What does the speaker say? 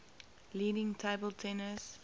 leading table tennis